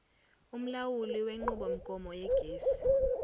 umlawuli wenqubomgomo yegesi